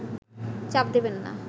চাপ দেবেন না